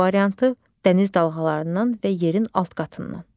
C variantı: Dəniz dalğalarından və yerin alt qatından.